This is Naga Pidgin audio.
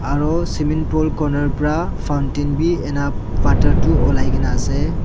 aru swimming pool corner pra fountain bi ena water tu olai kaena ase.